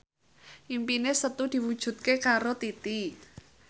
impine Setu diwujudke karo Titi